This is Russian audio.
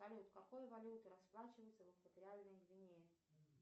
салют какой валютой расплачиваются в экваториальной гвинее